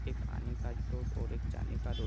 एक आने का रोड एक जाने का रोड ।